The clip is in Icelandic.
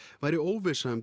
væri óvissa um